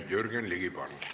Jürgen Ligi, palun!